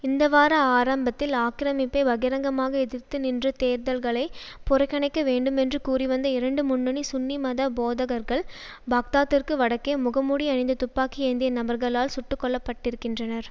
இந்தவார ஆரம்பத்தில் ஆக்கிரமிப்பை பகிரங்கமாக எதிர்த்து நின்ற தேர்தல்களை புறக்கணிக்க வேண்டுமென்று கூறிவந்த இரண்டு முன்னணி சுன்னி மத போதகர்கள் பாக்தாத்திற்கு வடக்கே முகமூடி அணிந்த துப்பாக்கி ஏந்திய நபர்களால் சுட்டுக்கொல்லப்பட்டிருக்கின்றனர்